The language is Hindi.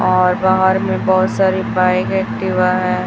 और बाहर में बहुत सारी बाइक एक्टिवा है।